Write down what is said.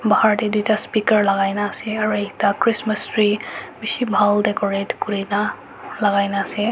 pahar teh tuita speaker lagai kina ase aro ekta christmas tree bishi bahal decorate kurina lagai kina ase.